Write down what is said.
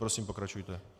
Prosím, pokračujte.